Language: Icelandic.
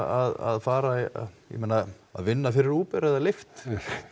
að fara bara vinna fyrir Uber eða lyft